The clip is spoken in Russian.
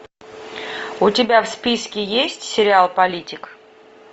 у тебя в списке есть сериал политик